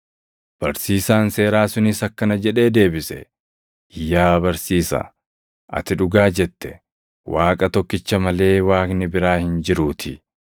Barsiisaan seeraa sunis akkana jedhee deebise; “Yaa barsiisaa, ati dhugaa jette; Waaqa tokkicha malee Waaqni biraa hin jiruutii.